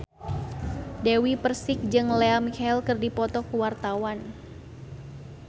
Dewi Persik jeung Lea Michele keur dipoto ku wartawan